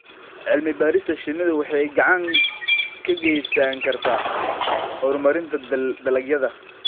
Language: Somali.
Cilmi-baarista shinnidu waxay gacan ka geysan kartaa horumarinta dalagyada.